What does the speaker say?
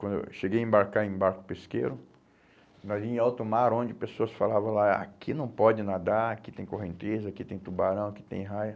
Quando eu cheguei a embarcar em barco pesqueiro, nós íamos em alto mar, onde as pessoas falavam lá, aqui não pode nadar, aqui tem correnteza, aqui tem tubarão, aqui tem raia.